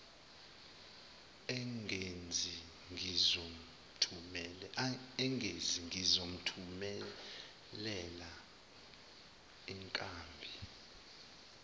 engezi ngizomthumelela izinkabi